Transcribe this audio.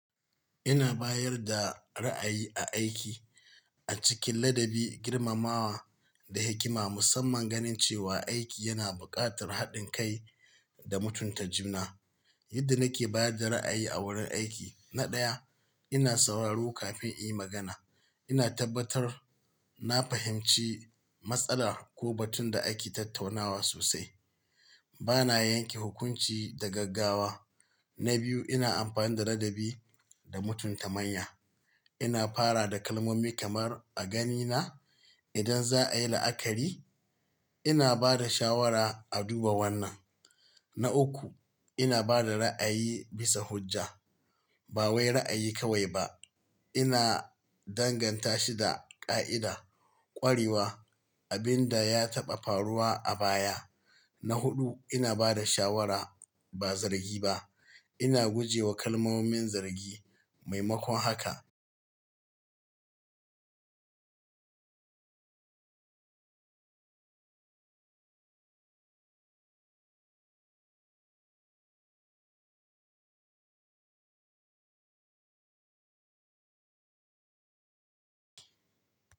Ina bayar da ra'ayi a aiki a cikin ladabi, girmamawa da hikima, musamman ganin cewa aiki yana buƙatar haɗin kai da mutunta juna. Yadda nake bayar da ra'ayi a wurin aiki, na ɗaya, ina sauraro kafin in yi magana. Ina tabbatar na fahimci matsala ko batun da ake tattaunawa sosai. Bana yanke hukunci da gaggawa. Na biyu, ina amfani da ladabi da mutunta manya. Ina fara da kalmomi kamar "a ganina idan za a yi la'akari, ina ba da shawara a duba wannan". Na uku, ina ba da ra'ayi bisa hujja. Ba wai ra'ayi kawai ba. Ina danganta shi da ƙa'ida, ƙwarewa, abin da ya taɓa faruwa a baya. Na huɗu, ina ba da shawara ba zargi ba. Ina guje wa kalmomin zargi maimakon haka.